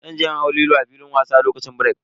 Zan je in hau Lilo a filin wasa lokacin birek.